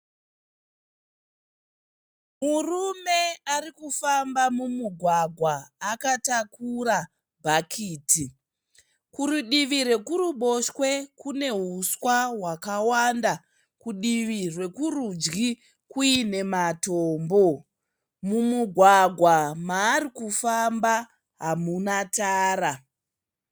Murume ari kufamba mumugwagwa akatakura bhakiti. Kurudivi hwekuruboshwe kune huswa hwakawanda, kudivi rwekurudyi kuine matombo. Mumugwagwa maari kufamba hamuna tara.